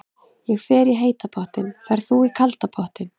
Ég fer í heita pottinn. Ferð þú í kalda pottinn?